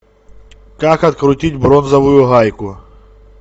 как открутить бронзовую гайку